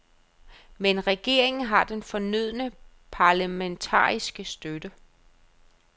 Men regeringen har den fornødne parlamentariske støtte.